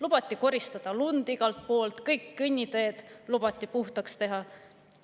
Lubati koristada lund igalt poolt, kõik kõnniteed lubati puhtaks teha.